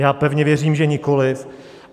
Já pevně věřím, že nikoliv.